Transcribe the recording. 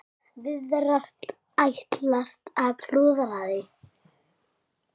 Virðast ætla að klúðra því.